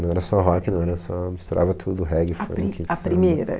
Não era só rock, não era só... misturava tudo, reggae, funk, sam... A primeira?